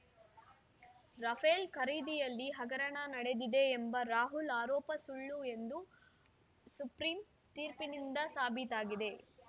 Rafale ಖರೀದಿಯಲ್ಲಿ ಹಗರಣ ನಡೆದಿದೆ ಎಂಬ ರಾಹುಲ್‌ ಆರೋಪ ಸುಳ್ಳು ಎಂದು ಸುಪ್ರೀಂ ತೀರ್ಪಿನಿಂದ ಸಾಬೀತಾಗಿದೆ